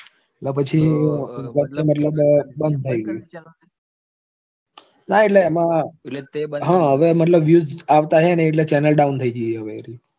પછી મતલબ બંધ થઇ ગઈ ના એટલે એમાં હવે મતલબ views આવતા નથી ને એટલે channel down થઇ ગઈ એ હવે એટલે